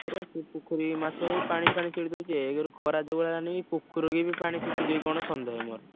ସେ ପୋଖରୀ ମାଛ ଏଇ ପାଣି ଫାଣି ସେଇଟୁ ଦଉଚି। ଏକରେ ଖରା ଯୋଉ ଭଳିଆ ହେଲାଣି ପୋଖରୀରୁ ବି ପାଣି ଶୁଖିଯିବ କି କଣ ସନ୍ଦେହ ମୋର।